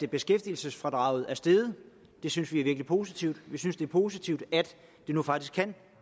beskæftigelsesfradraget er steget det synes vi er virkelig positivt vi synes det er positivt at det nu faktisk kan